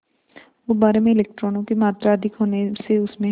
गुब्बारे में इलेक्ट्रॉनों की मात्रा अधिक होने से उसमें